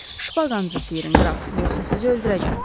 Şpaqanızı sirin qraf, yoxsa sizi öldürəcəm.